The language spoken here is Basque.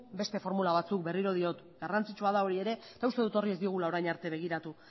beste formula batzuk berriro diot garrantzitsua da hori ere eta uste dut horri ez diogula orain arte begiratu